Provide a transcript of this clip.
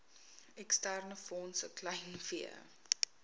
eksterne fondse kleinvee